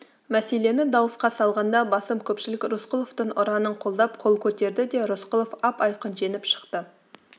мәселені дауысқа салғанда басым көпшілік рысқұловтың ұранын қолдап қол көтерді де рысқұлов ап-айқын жеңіп шықты